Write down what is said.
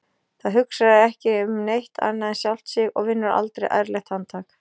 Það hugsar ekki um neitt annað en sjálft sig og vinnur aldrei ærlegt handtak.